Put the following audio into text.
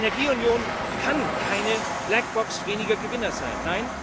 Die Energieunion kann keine Blackbox weniger Gewinner sein.